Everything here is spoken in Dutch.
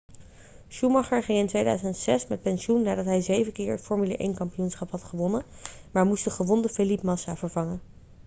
schumacher ging in 2006 met pensioen nadat hij zeven keer het formule 1-kampioenschap had gewonnen maar moest de gewonde felipe massa vervangen